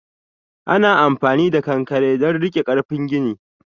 Ana amfani da ƙanƙare don rike karfi gini.